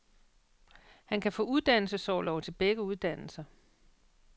Han kan få uddannelsesorlov til begge uddannelser.